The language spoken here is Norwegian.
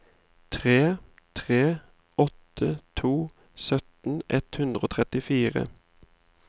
tre tre åtte to sytten ett hundre og trettifire